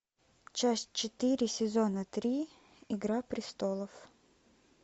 часть четыре сезона три игра престолов